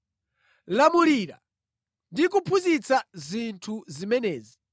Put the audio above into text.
Lamulira ndi kuphunzitsa zinthu zimenezi.